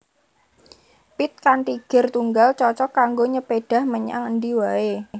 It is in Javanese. Pit kanthi gir tunggal cocog kanggo nyepédhah menyang endi waé